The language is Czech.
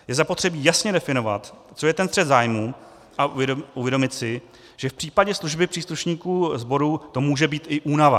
Je zapotřebí jasně definovat, co je ten střet zájmů, a uvědomit si, že v případě služby příslušníků sborů to může být i únava.